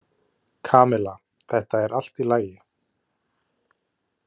Kamilla, þetta er allt í lagi.